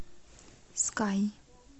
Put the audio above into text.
скай